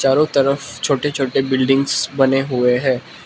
चारों तरफ छोटे छोटे बिल्डिंग्स बने हुए हैं।